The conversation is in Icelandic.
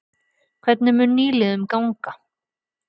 Hvernig mun nýliðunum ganga?